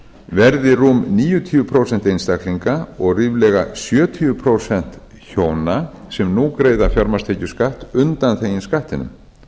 verði rúm níutíu prósent einstaklinga og ríflega sjötíu prósent hjóna sem nú greiða fjármagnstekjuskatt undanþegin skattinum